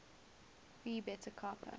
phi beta kappa